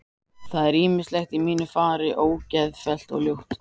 Það er ýmislegt í mínu fari ógeðfellt og ljótt.